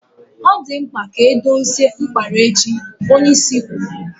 Ọ dị mkpa ka ọ dozie mkpara echi, onyeisi kwuru.